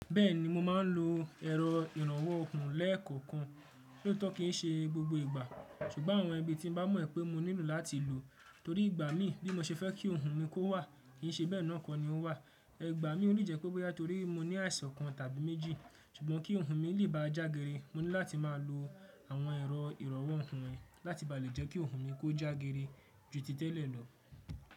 Bẹ́ẹ̀ni mo máa ń lo ẹ̀rọ ìrànwọ́ òkun lẹ́ẹ̀kokan kan, lo to kín ṣe gbogbo ìgbà, ṣùgbọ́n àwọn ibi tí n bá mọ̀ pé mo nílò láti lò torí ìgbà mí bí mo ṣe fẹ́ kí òhun mi kó wà kì í ṣe bẹ́ẹ̀ náà kọ́ ni ó wà. Ẹgbàá mi ò ní o le jẹ́ pé bóyà torí mo ní àìsàn kan tàbí méjì, ṣùgbọ́n kí òhun mi lè bá a jágere, mo ní láti máa lo àwọn ẹ̀rọ ìrànwọ́ òhun ẹ́ láti bà lé jẹ́ kí òhun mi kó jágere ju ti tẹ́lẹ̀ lọ.